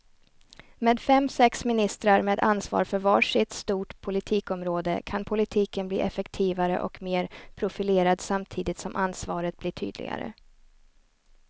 Med fem, sex ministrar med ansvar för var sitt stort politikområde kan politiken bli effektivare och mer profilerad samtidigt som ansvaret blir tydligare.